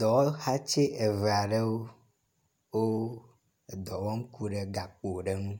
Dɔwɔhati eve aɖewo, wo edɔ wɔm ku ɖe gakpo ɖe ŋu.